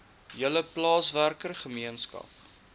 hele plaaswerker gemeenskap